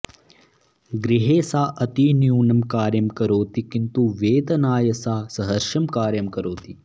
गृहे सा अतिन्यूनं कार्यं करोति किन्तु वेतनाय सा सहर्षं कार्यं करोति